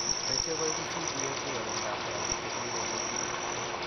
Besio Koibu CDA 2 rorunetab kortik chebiriren nekim.